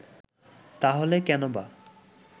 তাহলে কেনবা